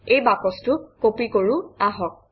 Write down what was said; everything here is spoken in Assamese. এই বাকচটো কপি কৰোঁ আহক